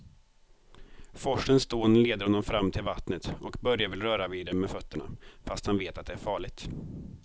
Forsens dån leder honom fram till vattnet och Börje vill röra vid det med fötterna, fast han vet att det är farligt.